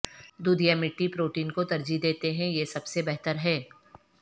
دودھ یا مٹی پروٹین کو ترجیح دیتے ہیں یہ سب سے بہتر ہے